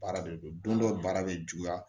Baara de don don dɔ baara bɛ juguya